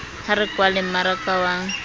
ha re kwaleng mmaraka wa